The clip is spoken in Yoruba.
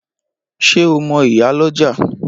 Ṣé o mo ìyálọ́jà?